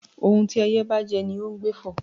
Ohún tí ẹyẹ́ bá jẹ́, ní ọ n gbé fọ́